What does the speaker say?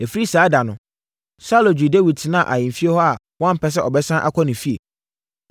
Ɛfiri saa ɛda no, Saulo gyee Dawid tenaa ahemfie hɔ a wampɛ sɛ ɔbɛsane akɔ ne fie.